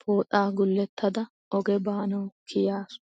pooxaa gulettada oge baanawu kiyaasu.